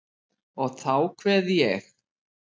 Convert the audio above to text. Og þá kveð ég.